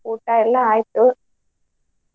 ಊಟ ಎಲ್ಲಾ ಆಯ್ತು.